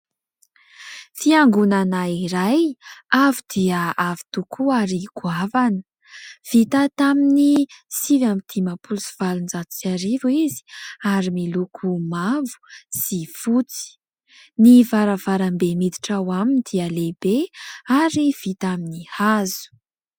Fiangonana iray avo dia avo tokoa ary goavana. Vita tamin'ny sivy amby dimampolo sy valonjato sy arivo izy ary miloko mavo sy fotsy. Ny varavarambe miditra ao aminy dia lehibe ary vita amin'ny hazo.